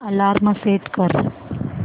alarm set कर